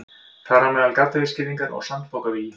Þar á meðal gaddavírsgirðingar og sandpokavígi.